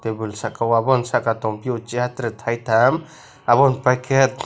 tebol saka o aboni saka o tonpiyo chair tere taitam aboni paikhe.